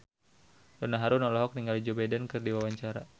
Donna Harun olohok ningali Joe Biden keur diwawancara